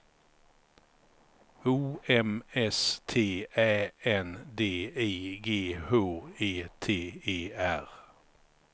O M S T Ä N D I G H E T E R